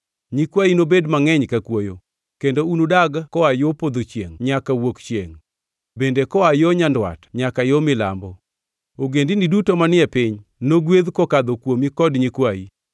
Nyikwayi nobed mangʼeny ka kwoyo, kendo unudag koa yo podho chiengʼ nyaka wuok chiengʼ, bende koa yo nyandwat nyaka yo milambo. Ogendini duto manie piny nogwedh kokadho kuomi kod nyikwayi.